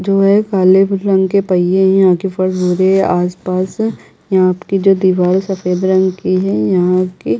जो ये काले फूलों के पहिये है आके फर्श हुए आस पास यहाँ की जो दिवार सफ़ेद रंग की है यहाँ के--